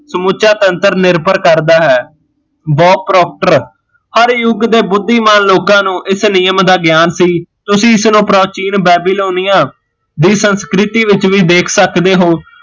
ਸਮੁੱਚਾ ਸੂਤਾਂਤਰ ਨਿਰਭਰ ਕਰਦਾ ਹੈ ਹਰ ਯੁੱਗ ਦੇ ਬੁੱਧੀਮਾਨ ਲੋਕਾਂ ਨੂੰ ਇਸ ਨਿਯਮ ਦਾ ਗਿਆਨ ਸੀ ਤੁਸੀਂ ਇਸ ਨੂ ਪ੍ਰਾਚੀਨ ਬੇਬੀਲੋਨੀਆ ਦੀ ਸੰਸਕ੍ਰਿਤੀ ਵਿੱਚ ਵੀ ਦੇਖ ਸਕਦੇ ਹੋ